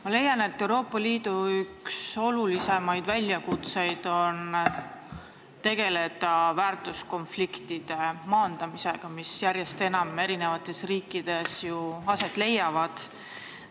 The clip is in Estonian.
Ma leian, et Euroopa Liidu olulisimaid väljakutseid on tegeleda väärtuskonfliktide maandamisega, mis eri riikides järjest enam aset leiavad.